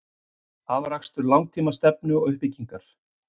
Afrakstur langtíma stefnu og uppbyggingar.